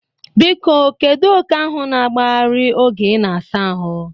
Biko kedu oke ahụ na-agbagharị oge ị na-asa ahụ?